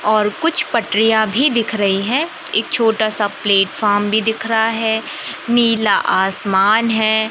और कुछ पटरिया भी दिख रही है एक छोटा सा प्लेटफार्म भी दिख रहा है नीला आसमान है।